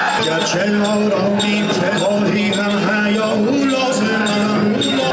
Gerçi rəhim dur ikdə, bari həya da lazımdır.